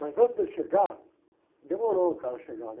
Mas antes dele chegar, demorou o cara chegar, né?